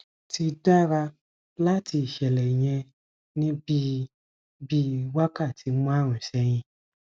ti dara lati iṣẹlẹ yẹn ni bii bii wakati marun sẹhin